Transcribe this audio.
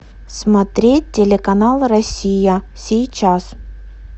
смотреть телеканал россия сейчас